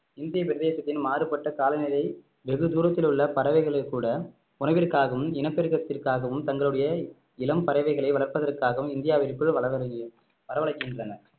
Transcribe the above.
இந்திய பிரதேசத்தின் மாறுபட்ட காலநிலையை வெகுதூரத்தில் உள்ள பறவைகளை கூட உணவிற்காகவும் இனப்பெருக்கத்திற்காகவும் தங்களுடைய இளம் பறவைகளை வளர்ப்பதற்காகவும் இந்தியாவிற்குள் வளரவ~ வரவழைக்கின்றன